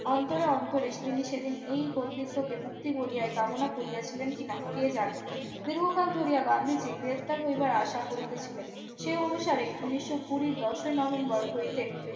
অন্তরে অন্তরে তিনি সেদিন এই পণ্ডিত্যকে মুক্তি বলিয়ায় কামনা করিয়াছিলেন কিনা কে জানেন দীর্ঘকাল ধরিয়া গান্ধীজি গ্রেপ্তার হইবার আশা করিতেছিলেন সেই অনুসারে উন্নিশো খুরির দশই নভেম্বর হইতে